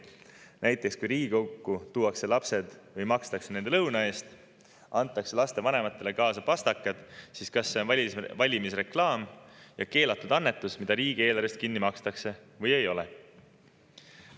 Näiteks, kui Riigikokku tuuakse lapsed või makstakse nende lõuna eest, siis kas see, kui neile antakse vanematele kaasa pastakad, on valimisreklaam ja keelatud annetus, mis riigieelarvest kinni makstakse, või ei ole.